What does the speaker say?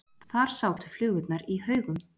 Þar sátu flugurnar í haugum.